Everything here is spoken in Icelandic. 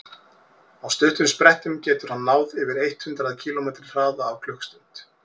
á stuttum sprettum getur hann náð yfir eitt hundruð kílómetri hraða á klukkustund